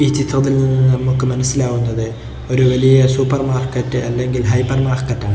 ഈ ചിത്രത്തിൽ നിന്നും നമുക്ക് മനസ്സിലാവുന്നത് ഒരു വലിയ സൂപ്പർ മാർക്കറ്റ് അല്ലെങ്കിൽ ഹൈപ്പർ മാർക്കറ്റാണ് .